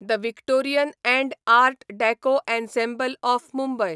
the Victorian and art deco ensemble of Mumbai